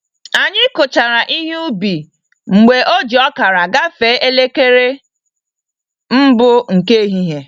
Anyi kuchara ihe ubi mgbe oji ọkara gafe elekere mbụ nke ehihie